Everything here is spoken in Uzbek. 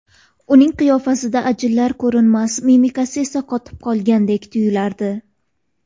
Uning qiyofasida ajinlar ko‘rinmas, mimikasi esa qotib qolgandek tuyilardi.